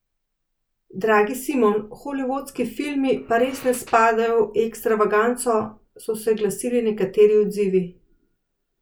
Dragi Simon, holivudski filmi pa res ne spadajo v Ekstravaganco, so se glasili nekateri odzivi.